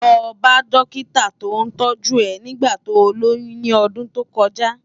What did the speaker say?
Lò bá dòkitá tó tòjú è nigbá tó lóyùn ni òdùn tókòjá